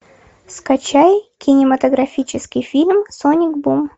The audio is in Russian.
скачай кинематографический фильм соник бум